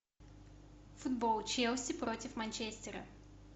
футбол челси против манчестера